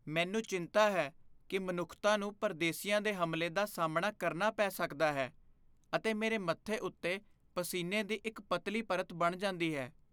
ਮੈਨੂੰ ਚਿੰਤਾ ਹੈ ਕਿ ਮਨੁੱਖਤਾ ਨੂੰ ਪਰਦੇਸੀਆਂ ਦੇ ਹਮਲੇ ਦਾ ਸਾਹਮਣਾ ਕਰਨਾ ਪੈ ਸਕਦਾ ਹੈ ਅਤੇ ਮੇਰੇ ਮੱਥੇ ਉੱਤੇ ਪਸੀਨੇ ਦੀ ਇੱਕ ਪਤਲੀ ਪਰਤ ਬਣ ਜਾਂਦੀ ਹੈ।